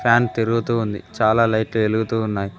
Fan తిరుగుతూ ఉంది చాలా లైట్లు వెలుగుతూ ఉన్నాయి.